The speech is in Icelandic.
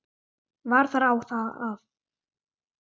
Var þar á að